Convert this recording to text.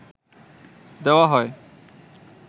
দেওয়া হয়